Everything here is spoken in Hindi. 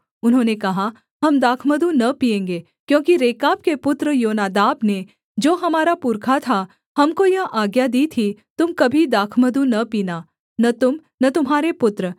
उन्होंने कहा हम दाखमधु न पीएँगे क्योंकि रेकाब के पुत्र योनादाब ने जो हमारा पुरखा था हमको यह आज्ञा दी थी तुम कभी दाखमधु न पीना न तुम न तुम्हारे पुत्र